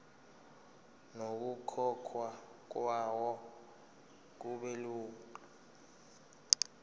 nokukhokhwa kwayo kubelula